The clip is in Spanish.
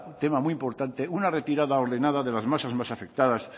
tema muy importante una retirada ordenada de las masas más afectadas